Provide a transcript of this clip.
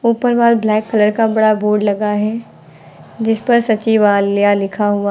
ऊपर wall black colour का बड़ा बोर्ड लगा है जिस पर सचिवालया लिखा हुआ--